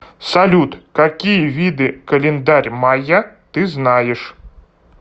салют какие виды календарь майя ты знаешь